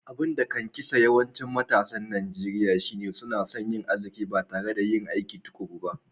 Abun da kan kisan yawancin matasan Nijeriya shine suna so yin aziki ba tare da yin aikin tukuru ba.